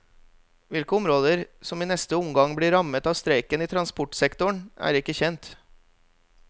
Hvilke områder som i neste omgang blir rammet av streiken i transportsektoren, er ikke kjent.